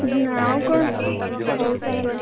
ଆଉ କଣ ହଉ ତାହେଲେ।